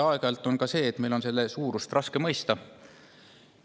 Aeg-ajalt on meil selle suurust raske mõista.